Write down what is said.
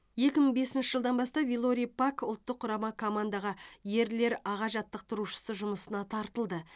екі мың бесінші жылдан бастап вилорий пак ұлттық құрама командаға ерлер аға жаттықтырушысы жұмысына тартылды